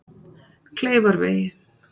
Kleifarvegi